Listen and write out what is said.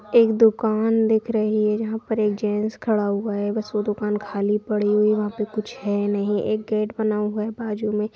एक दुकान दिख रही है जहां पर एक जेन्ट्स खड़ा हुआ है बस वो दुकान खाली पड़ी हुई है वहा पे कुछ है नहीं एक गेट बना हुआ है बाजुमे।